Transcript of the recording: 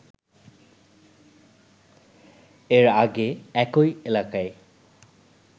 এর আগে একই এলাকায়